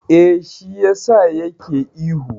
Eh, shi yasa ya ke ihu.